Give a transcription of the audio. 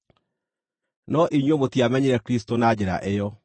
No inyuĩ mũtiamenyire Kristũ na njĩra ĩyo.